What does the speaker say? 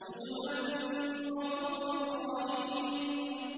نُزُلًا مِّنْ غَفُورٍ رَّحِيمٍ